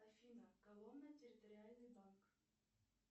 афина коломна территориальный банк